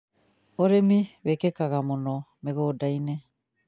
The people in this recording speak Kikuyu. Ūrĩmi wĩkĩkaga mũno mĩgũnda-inĩ